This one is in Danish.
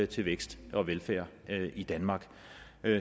til vækst og velfærd i danmark